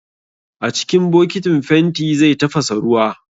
A cikin bokitin fenti zai tafasa ruwa